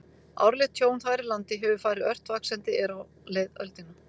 Árlegt tjón þar í landi hefur farið ört vaxandi er á leið öldina.